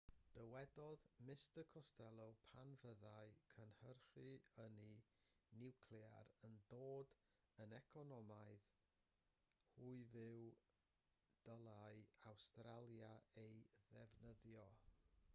dywedodd mr costello pan fyddai cynhyrchu ynni niwclear yn dod yn economaidd hyfyw dylai awstralia ei ddefnyddio